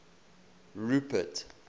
rupert